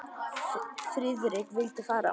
Friðrik vildi fara.